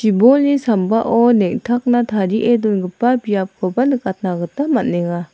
sambao neng·takna tarie dongipa biapkoba nikatna gita man·enga.